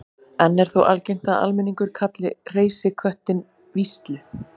enn er þó algengt að almenningur kalli hreysiköttinn víslu